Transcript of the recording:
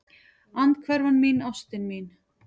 Andhverfan mín, ástin mín.